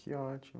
Que ótimo!